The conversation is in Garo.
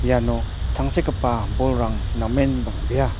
iano tangsekgipa bolrang namen bang·bea.